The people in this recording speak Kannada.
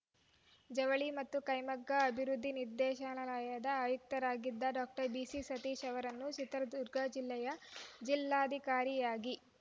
ಜವಳಿ ಮತ್ತು ಕೈಮಗ್ಗ ಅಭಿವೃದ್ಧಿ ನಿರ್ದೇಶನಾಲಯದ ಆಯುಕ್ತರಾಗಿದ್ದ ಡಾಕ್ಟರ್ ಬಿಸಿ ಸತೀಶ ಅವರನ್ನು ಚಿತ್ರದುರ್ಗ ಜಿಲ್ಲೆಯ ಜಿಲ್ಲಾಧಿಕಾರಿಯಾಗಿ